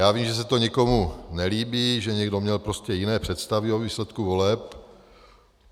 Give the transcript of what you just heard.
Já vím, že se to někomu nelíbí, že někdo měl prostě jiné představy o výsledku voleb.